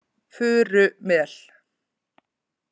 Furumel